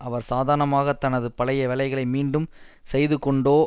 அவர் சாதாரணமாக தனது பழைய வேலைகளை மீண்டும் செய்துகொண்டோ